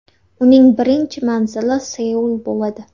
Uning birinchi manzili Seul bo‘ladi.